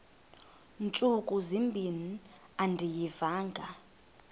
ntsuku zimbin andiyivanga